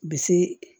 Bi se